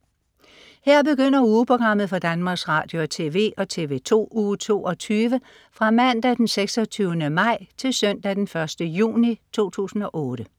Her begynder ugeprogrammet for Danmarks Radio- og TV og TV2 Uge 22 Fra Mandag den 26. maj 2008 Til Søndag den 1. juni 2008